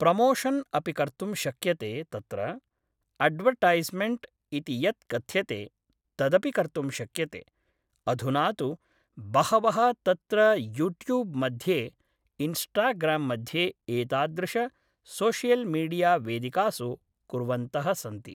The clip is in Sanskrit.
प्रमोशन् अपि कर्तुं शक्यते तत्र अड्वर्टैस्मेण्ट् इति यत् कथ्यते तदपि कर्तुं शक्यते अधुना तु बहवः तत्र यूट्यूब् मध्ये इन्स्टाग्राम् मध्ये एतादृश सोषियल्मीडिया वेदिकासु कुर्वन्तः सन्ति